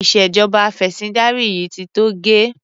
Ìṣèjọba afẹ̀sìndarí yìí ti tó gẹ́.